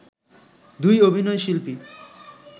দুই অভিনয় শিল্পী